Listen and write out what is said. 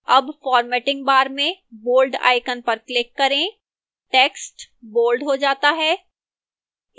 अब formatting bar में bold icon पर click करें टेक्स्ट bold हो जाता है